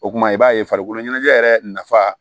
O kumana i b'a ye farikolo ɲɛnajɛ yɛrɛ nafa